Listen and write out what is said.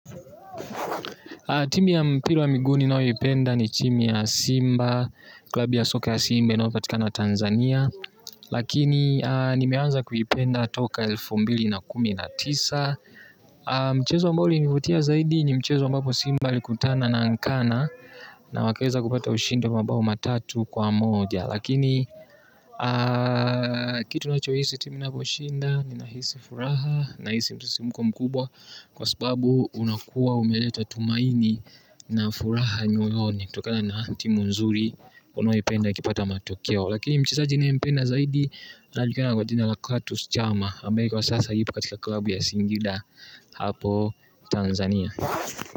Timu ya mpira ya miguu ninayoipenda ni timu ya Simba, klabu ya soka ya Simba inayopatikana Tanzania, Lakini nimeanza kuipenda toka elfu mbili na kumi na tisa. Mchezo ambao ulinivutia zaidi ni mchezo mbapo Simba alikutana na Ghana. Na wakaweza kupata ushindi wa mabao matatu kwa moja, lakini kitu ninachohisi timu inaposhinda ninahisi furaha, ninahisi msisimuko mkubwa, kwa sababu unakuwa umeleta tumaini na furaha nyoyoni kutokana na timu nzuri unayoipenda ikipata matokeo. Lakini mchezaji ninayempenda zaidi anajulikana kwa jina la Katus chama ambaye kwa sasa yupo katika klabu ya singida hapo Tanzania.